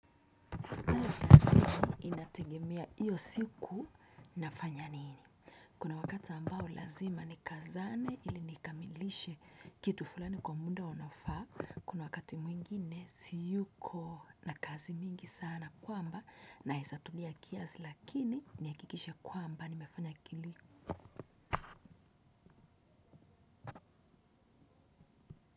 Tegemea iyo siku nafanya nini. Kuna wakati ambao lazima ni kazane ili nikamilishe kitu fulani kwa muda unaofaa. Kuna wakati mwingine siyuko na kazi mingi sana kwamba naezatulia kiazi lakini ni akikishe kwamba nimefanya kiliku.